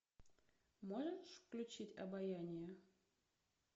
можешь включить обаяние